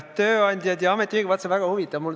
Tööandjad ja ametiühingud – vaat, see on väga huvitav!